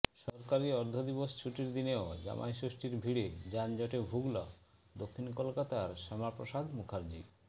সরকারি অর্ধদিবস ছুটির দিনেও জামাই ষষ্ঠীর ভিড়ে যানজটে ভুগল দক্ষিণ কলকাতার শ্যামাপ্রসাদ মুখার্জি